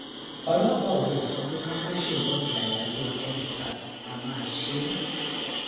ọlọpàá ò lè sọ pé ká má ṣèwọde àyájọendsars a máa ṣe é